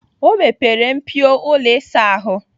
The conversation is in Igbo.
O mepere mpio ụlọ ịsa ahụ.